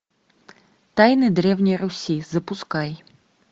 тайны древней руси запускай